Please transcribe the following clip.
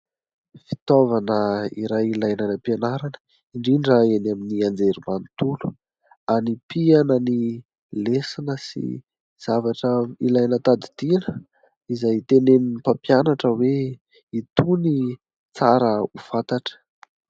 fFtaovana iray ilaina any ampianarana indrindra eny amin'ny anjerimanontolo. Hanipihana ny lesona sy zavatra ilaina tadidiana izay tenenin'ny mpampianatra hoe itony tsara ho fantatra.